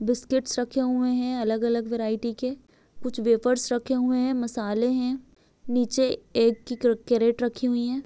Biscuits रखे हुए है अलग-अलग वैरायटी के कुछ वेफर्स रखे हुए है मसाले है नीचे एक कैरेट रखी हुई है।